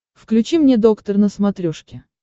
включи мне доктор на смотрешке